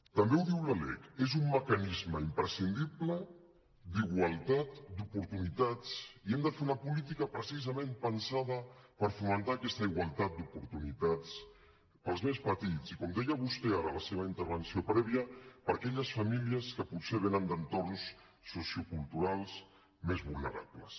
també ho diu la lec és un mecanisme imprescindible d’igualtat d’oportunitats i em de fer una política precisament pensada per fomentar aquesta igualtat d’oportunitats per als més petits i com deia vostè ara a la seva intervenció prèvia per a aquelles famílies que potser venen d’entorns socioculturals més vulnerables